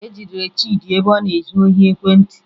E jidere Chịdị ebe ọ na-ezu ohi ekwentị